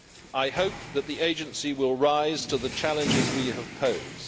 I hope that the Agency will rise to the challenges we have posed.